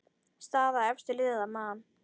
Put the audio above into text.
Staða efstu liða: Man.